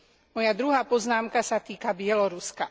Moja druhá poznámka sa týka Bieloruska.